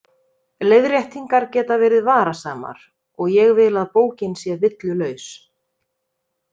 Leiðréttingar geta verið varasamar og ég vil að bókin sé villulaus.